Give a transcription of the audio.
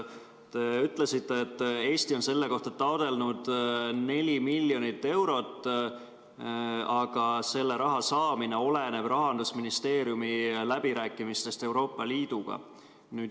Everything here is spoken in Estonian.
Te ütlesite, et Eesti on selle jaoks taotlenud 4 miljonit eurot, aga selle raha saamine oleneb Rahandusministeeriumi läbirääkimistest Euroopa Liiduga.